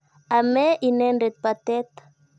Ame inendet patet.